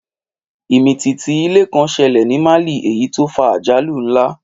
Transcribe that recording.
Ìmìtìtì ilẹ̀ kan ṣẹlẹ̀ ní Mali èyí tó fa àjálù ńlá